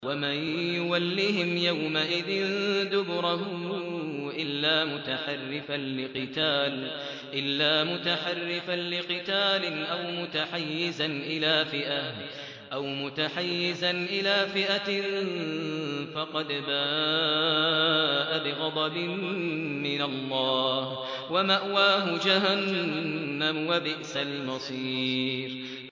وَمَن يُوَلِّهِمْ يَوْمَئِذٍ دُبُرَهُ إِلَّا مُتَحَرِّفًا لِّقِتَالٍ أَوْ مُتَحَيِّزًا إِلَىٰ فِئَةٍ فَقَدْ بَاءَ بِغَضَبٍ مِّنَ اللَّهِ وَمَأْوَاهُ جَهَنَّمُ ۖ وَبِئْسَ الْمَصِيرُ